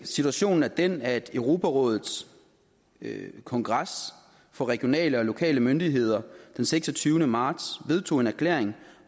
situationen er den at europarådets kongres for regionale og lokale myndigheder den seksogtyvende marts vedtog en erklæring